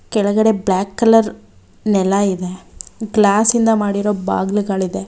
ಕೆಳಗಡೆ black colour ನೆಲ ಇದೆ ಗ್ಲಾಸ್ ಇಂದ ಮಾಡಿರೋ ಬಾಗ್ಲುಗಳಿದೆ.